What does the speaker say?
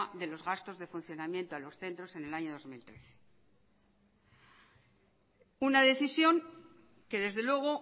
de los gastos de funcionamiento a los centros en el año dos mil trece una decisión que desde luego